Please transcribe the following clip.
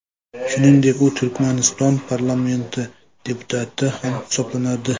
Shuningdek, u Turkmaniston parlamenti deputati ham hisoblanadi.